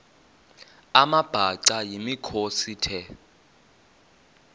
amabhaca yimikhosi the